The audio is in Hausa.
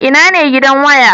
Ina ne gidan waya?